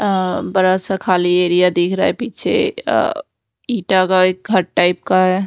अह बड़ा सा खाली एरिया दिख रहा है पीछे अह इंटा का घर टाइप का है।